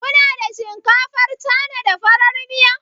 Ku na da shinkafar Cana, da farar miya?